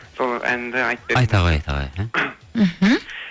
сол әнді айта ғой айта ғой мхм